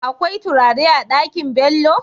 Akwai turare a Ɗakin Bello?